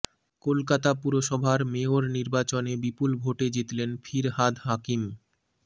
কলকাতা পুরসভার মেয়র নির্বাচনে বিপুল ভোটে জিতলেন ফিরহাদ হাকিম